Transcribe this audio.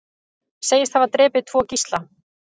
Segist hafa drepið tvo gísla